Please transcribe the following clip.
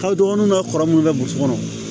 Ka dɔgɔnunw ka kɔrɔ minnu bɛ burusi kɔnɔ